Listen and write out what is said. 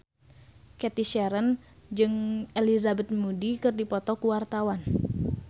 Cathy Sharon jeung Elizabeth Moody keur dipoto ku wartawan